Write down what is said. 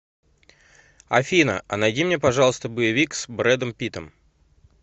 афина а найди мне пожалуйста боевик с брэдом питтом